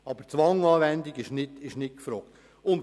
Die Anwendung von Zwang kommt aber nicht infrage.